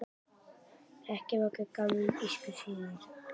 Hrekkjavaka er gamall írskur siður.